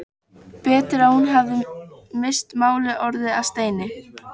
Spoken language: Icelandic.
Betur að hún hefði misst málið, orðið að steini.